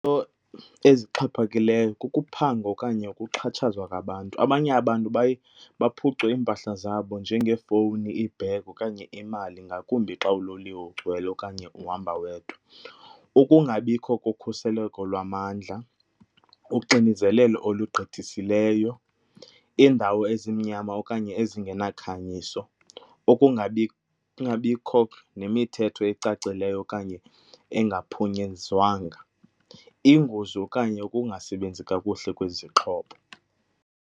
ezixhaphakileyo kukuphangwa okanye ukuxhatshazwa kwabantu. Abanye abantu baye baphucwe iimpahla zabo njengeefowuni, ibhegi okanye imal,i ngakumbi xa uloliwe ugcwele okanye uhamba wedwa. Ukungabikho kokhuseleko lwamandla, uxinezelelo olugqithisileyo, iindawo ezimnyama okanye ezingenakhanyiso, kungabikho nemithetho ecacileyo okanye engaphunyezwanga, iingozi okanye ukungasebenzi kakuhle kwezixhobo.